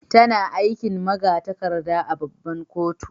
Tana aikin magatarkada a' babban kotu.